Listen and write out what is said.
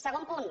segon punt